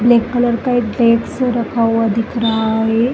Black colour का एक desk रखा हुआ दिख रहा है।